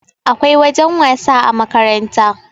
akwai wajen wasa a makaranta